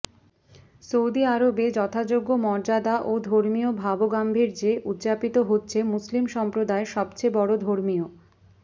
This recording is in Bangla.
সৌদি আরবে যথাযোগ্য মর্যাদা ও ধর্মীয় ভাবগাম্ভীর্যে উদযাপিত হচ্ছে মুসলিম সম্প্রদায়ের সবচেয়ে বড় ধর্মীয়